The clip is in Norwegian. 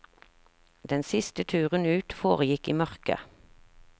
Den siste turen ut foregikk i mørke.